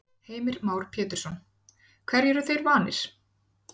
Heimir Már Pétursson: Hverju eru þeir vanir?